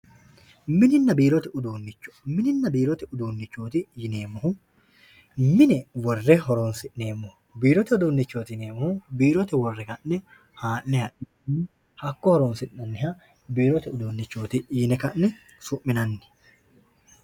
Mininna biirote uduunnicho mininna biirote uduunnichooti yineemmohu mine worre horoonsi'neemmoho biirote uduunnichooti yineemmohu hakko worre horonsi'nanniha biirote uduunnichooti yine su'minanni.